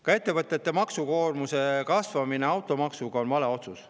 Ka ettevõtete maksukoormuse automaksuga kasvatamine on vale otsus.